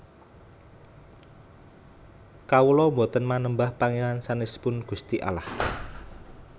Kawula boten manembah Pangeran sanesipun Gusti Allah